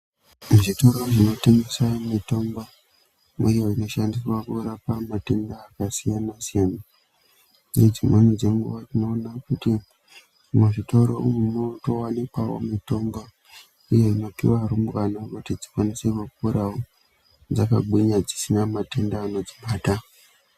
Muzvitoro mutengeswe mitombo iyo inoshandiswa kurapa matenda akasiyana siyana nedzimweni dzenguwa tinoona kuti muzvitoro umu munotowanikwawo mitongo uye inopuwawo arungu anoita dzikwanisewo kuporawo dzakagwinyawo dzisina matenda anodzibata.